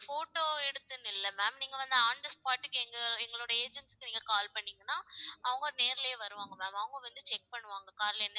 photo எடுத்துன்னு இல்ல ma'am நீங்க வந்து on the spot க்கு எங்க~ எங்களோட agents க்கு நீங்க call பண்ணீங்கன்னா அவங்க நேர்லயே வருவாங்க ma'am அவங்க வந்து check பண்ணுவாங்க car ல என்னன்னு